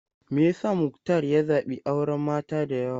Me yasa Muktar ya zabi auren mata da yawa?